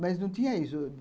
Mas não tinha isso.